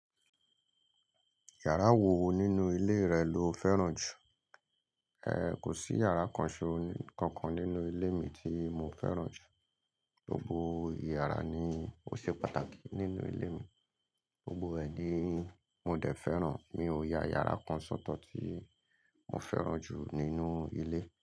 Yàrá wo nínú ilé rẹ lo fẹ́ràn jù? Ehn, kò sí yàrá kan ṣe-- kankan nínú ilé mi tí mo fẹ́ràn jù. Gbogbo iyàrá ni ó ṣe pàtàkì nínú ilé mi. Gbogbo ẹ̀ ni mo dẹ̀ fẹ́ràn, mi ò ya yàrá kan sóto tí mo fẹ́ràn jù nínú ilé.